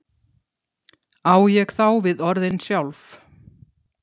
á ég þá við orðin sjálf